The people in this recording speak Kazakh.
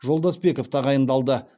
жолдасбеков тағайындалды